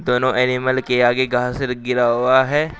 दोनों एनिमल के आगे घास र गिरा हुआ है।